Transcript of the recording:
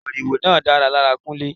Moriwo náà dára lára Kunle.